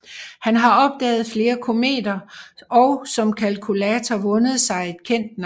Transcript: Han har opdaget flere kometer og som kalkulator vundet sig et kendt navn